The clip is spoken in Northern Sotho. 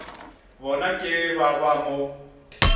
bona ke ba ba mo